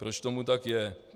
Proč tomu tak je?